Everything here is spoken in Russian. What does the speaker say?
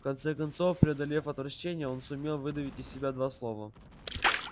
в конце концов преодолев отвращение он сумел выдавить из себя два слова